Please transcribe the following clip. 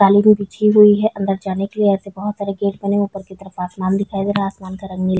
रही है अंदर जाने के लिए ऐसे बहोत सारे गेट बने ऊपर आसमान दिखाई दे रहा है आसमान का रंग नीला--